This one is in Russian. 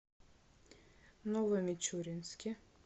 новомичуринске